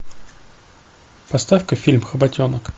поставь ка фильм хоботенок